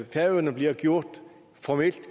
færøerne bliver gjort formelt